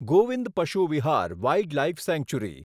Govind Pashu Vihar wildlife century